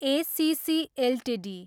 ACC Ltd